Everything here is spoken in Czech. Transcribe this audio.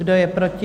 Kdo je proti?